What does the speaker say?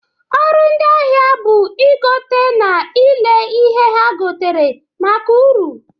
ọrụ ndi ahịa bụ igote na ile ihe ha gotere maka uru.